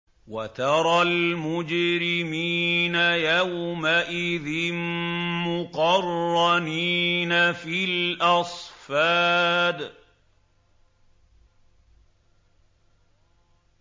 وَتَرَى الْمُجْرِمِينَ يَوْمَئِذٍ مُّقَرَّنِينَ فِي الْأَصْفَادِ